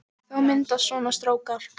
Þá myndast svona strókar